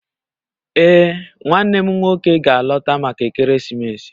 Ee, nwannem nwoke ga-alọta maka ekeresimesi